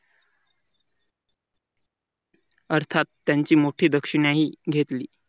अर्थात त्यांची मोठी दक्षिणा ही घेतली.